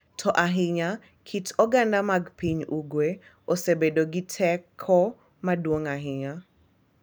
To ahinya kit oganda mag piny Ugwe osebedo gi teko maduong’ ahinya,